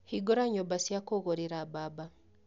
Hingũra nyũmba cia kũgũrĩra mbamba